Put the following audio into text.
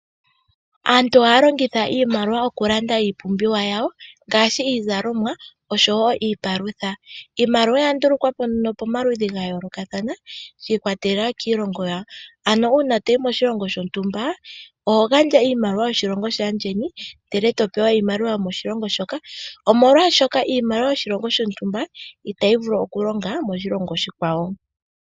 Aantu ohaya longitha iimaliwa okulanda iipumbiwa yawo ngaashi iizalomwa oshowo iipalutha. Iimaliwa oya ndulukwa po momaludhi ga yoolokathana shi ikwatelela kiilongo yawo, ano uuna toyi moshilongo shontumba oho gandja iimaliwa yoshilongo shaandjeni ndele topewa iimaliwa yokoshilongo shoka omolwashoka iimaliwa yoshilongo shontumba itayi vulu oku longa moshilongo oshikwawo.